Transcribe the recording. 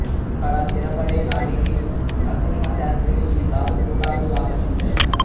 అక్కడ స్థిరపడే నాటికి నరసింహ శాస్త్రిని ఈ సాధు కూటాలు ఆకర్షించాయి